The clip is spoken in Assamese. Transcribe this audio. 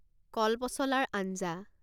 কলপচলাৰ আঞ্জা